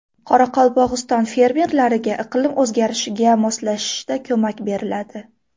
Qoraqalpog‘iston fermerlariga iqlim o‘zgarishiga moslashishda ko‘mak beriladi.